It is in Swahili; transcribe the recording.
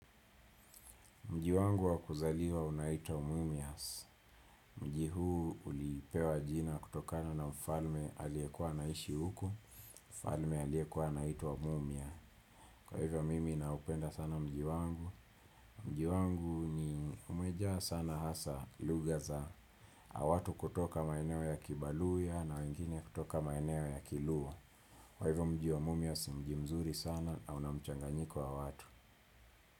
Mji wangu wa kuzaliwa unaitwa Mumias. Mji huu ulipewa jina kutokana na mfalme aliyekuwa anaishi huku. Mfalme aliyekuwa anaiwa Mumia. Kwa hivyo mimi naupenda sana mji wangu. Mji wangu ni umejaaa sana hasa lugha za. Watu kutoka maeneo ya kibaluya na wengine kutoka maeneo ya kiluo. Kwa hivyo mji wa Mumias mjimzuri sana na una mchanganyiko wa watu.